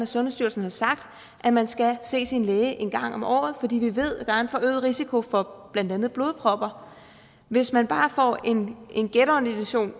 sundhedsstyrelsen har sagt at man skal se sin læge en gang om året fordi vi ved at der er en forøget risiko for blandt andet blodpropper hvis man bare får en en genordination